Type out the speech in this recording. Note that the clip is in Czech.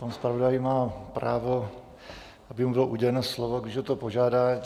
Pan zpravodaj má právo, aby mu bylo uděleno slovo, když o to požádá.